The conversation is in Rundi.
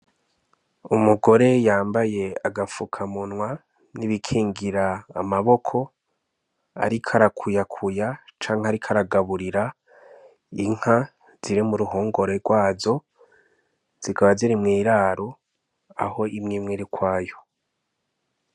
Umugore yambaye agapfuka munwa nibi kingira ama boko ariko arakuyakuya canke ariko aragaburira inka ziri muruhongore rwazo zikaba ziri mwiraro aho imwe imwe iri ukwayo